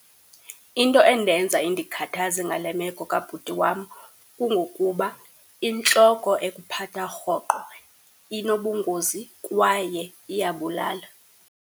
Into endenza indikhathaze ngale meko kabhuti wam kungokuba intloko ekuphatha rhoqo inobungozi kwaye iyabulala.